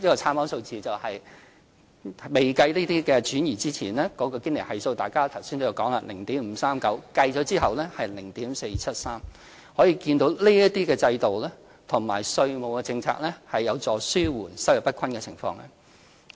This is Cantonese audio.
參考數字：未計算這些轉移之前，堅尼系數——大家剛才都有提及——是 0.539， 計算後是 0.473， 可見這些制度和稅務政策有助紓緩收入不均的情況。